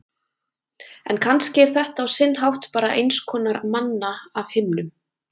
En kannski er þetta á sinn hátt bara einskonar manna af himnum.